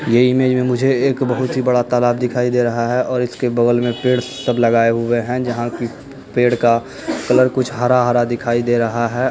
ये इमेज में मुझे बहुत ही बड़ा तालाब दिखाई दे रहा है और इसके बगल में पेड़ सब लगाए हुए हैं जहाँ की पेड़ का कलर कुछ हरा-हरा दिखाई दे रहा है।